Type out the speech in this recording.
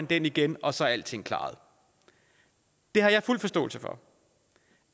den igen og så er alting klaret jeg har fuld forståelse for